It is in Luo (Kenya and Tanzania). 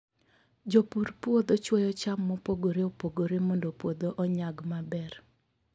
Jopur puodho chwoyo cham mopogore opogore mondo puodho onyag maber.